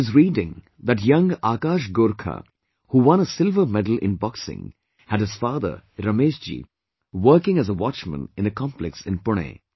I was reading that young Akash Gorkha who won a silver medal in boxing had his father, Ramesh Ji working as a watchman in a complex in Pune